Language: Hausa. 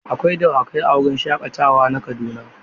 Akwai dawakai a wurin shaƙatawa na Kaduna.